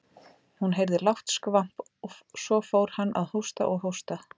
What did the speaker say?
Hún heyrði lágt skvamp og svo fór hann að hósta og hósta.